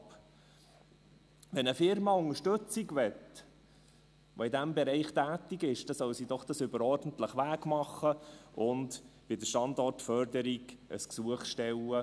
Wenn eine Firma, die in diesem Bereich tätig ist, Unterstützung will, dann soll sie das doch über den ordentlichen Weg machen und bei der Standortförderung ein Gesuch stellen.